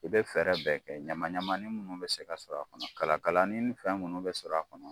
U be fɛɛrɛ bɛɛ kɛ ɲama ɲamani munnu bɛ se ka sɔrɔ a kɔnɔ, kala kalani ni fɛn munnu bɛ sɔrɔ a kɔnɔ